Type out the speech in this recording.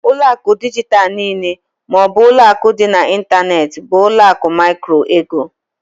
Ụlọ akụ dijitalụ niile ma ọ bụ ụlọ akụ dị n'ịntanetị bụ ụlọ akụ micro-ego.